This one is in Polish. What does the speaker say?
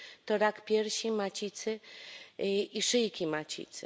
to rak piersi, macicy i szyjki macicy.